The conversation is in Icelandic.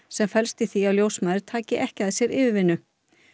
sem felst í því að ljósmæður taki ekki að sér yfirvinnu